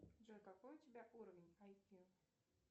джой какой у тебя уровень айкью